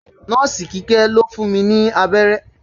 Nọ́ọ̀sì Kíkẹ́ ló fún mi abẹ́rẹ́